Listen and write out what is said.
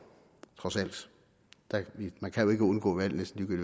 trods alt man kan jo ikke undgå valg næsten